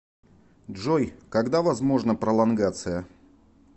джой когда возможна пролонгация